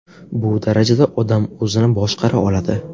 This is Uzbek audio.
Bu darajada odam o‘zini boshqara oladi.